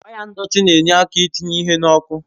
Waya ndọtị na-enye aka I tinye ihe n'oku